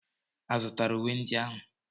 A zụtara uwe ndị ahụ?